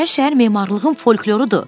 İçərişəhər memarlığın folklorudur.